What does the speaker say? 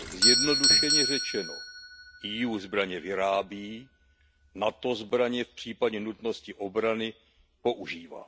Zjednodušeně řečeno, EU zbraně vyrábí, NATO zbraně v případě nutnosti obrany používá.